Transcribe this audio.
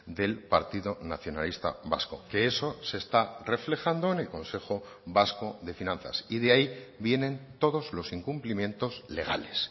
del partido nacionalista vasco que eso se está reflejando en el consejo vasco de finanzas y de ahí vienen todos los incumplimientos legales